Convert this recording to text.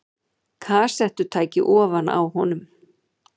Kassettutæki ofan á honum.